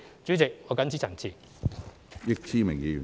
主席，我謹此陳辭。